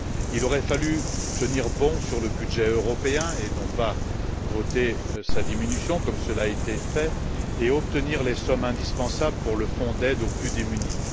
Il aurait fallu tenir bon sur le budget européen, et non pas voter sa diminution, comme cela a été fait, afin d'obtenir les sommes indispensables pour le Fonds européen d'aide aux plus démunis.